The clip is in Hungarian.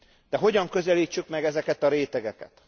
De hogyan közelítsük meg ezeket a rétegeket?